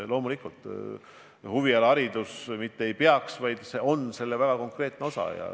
Loomulikult, huvialaharidus mitte ei peaks olema, vaid on hariduse väga konkreetne osa.